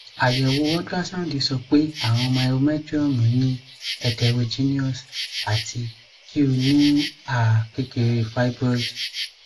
ayewo ultrasound sọ pe awọn myometrium ni heterogeneous ati ki o ni a kekere fibroid